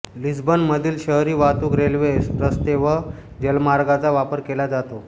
लिस्बनमधील शहरी वाहतूक रेल्वे रस्ते व जलमार्गांचा वापर केला जातो